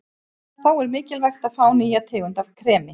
Þá er mikilvægt að fá nýja tegund af kremi.